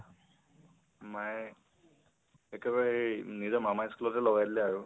মায়ে একেবাৰে সেই নিজৰ মামাৰ school তে লগাই দিলে আৰু